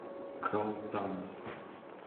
калтана